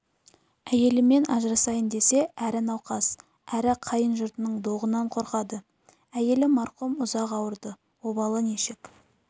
әйелімен ажырасайын десе әрі науқас әрі қайын жұртының доғынан қорқады әйелі марқұм ұзақ ауырды обалы нешік